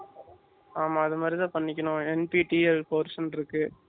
ஆமா அது மாதிரி தான் பண்ணிக்கணும் nttl course ன்னு இருக்கு.